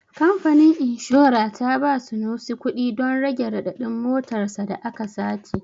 Kamfanin inshora ta ba Sunusi kuɗi don rage raɗaɗin motar sa da aka sace.